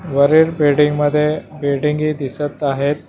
वरील बिल्डिंगमध्ये बिल्डिंगी दिसत आहेत.